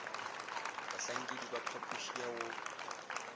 bahlankedi ba phapoši ya go